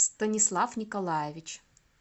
станислав николаевич